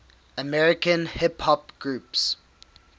american hip hop groups